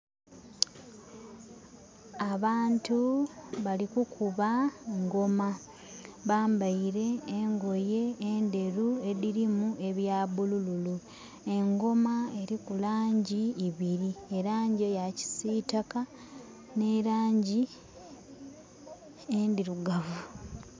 Abantu bali kukuba ngoma. Bambaile engoye endheru edhirimu ebya bulululu. Engoma eliku laangi ibiri, elaangi eya kisiitaka n'elaangi endhirugavu.